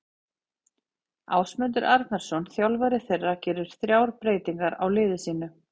Ásmundur Arnarsson þjálfari þeirra gerir þrjár breytingar á liði sínu.